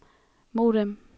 modem